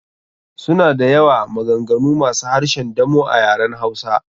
Suna da yawa, maganganu masu harshen damo a yaren hausa.